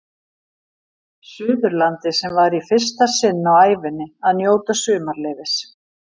Suðurlandi sem var í fyrsta sinn á ævinni að njóta sumarleyfis.